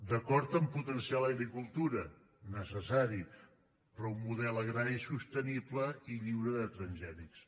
d’acord a potenciar l’agricultura necessari però un model agrari sostenible i lliure de transgènics